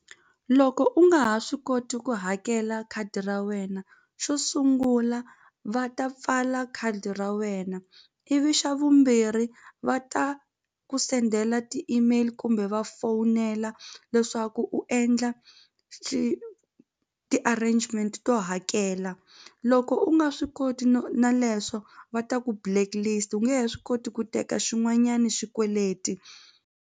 Loko u nga ha swi koti ku hakela khadi ra wena xo sungula va ta pfala khadi ra wena ivi xa vumbirhi va ta ku sendela ti-email kumbe va fowunela leswaku u endla ti-arrangement to hakela loko u nga swi koti no na leswo va ta ku blacklist u nge he swi koti ku teka xin'wanyani xikweleti.